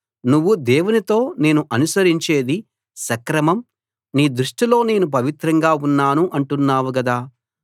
నువ్వు దేవునితో నేను అనుసరించేది సక్రమం నీ దృష్టిలో నేను పవిత్రంగా ఉన్నాను అంటున్నావు గదా